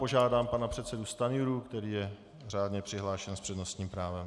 Požádám pana předsedu Stanjuru, který je řádně přihlášen s přednostním právem.